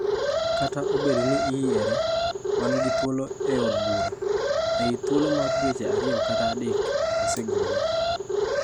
"Kata obedo ni oyiere, wan gi thuolo e od bura, ei thuolo mar dweche ariyo kata adek, wasegole."